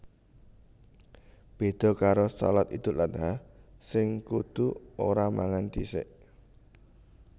Béda karo shalat Idul Adha sing kudu ora mangan dhisik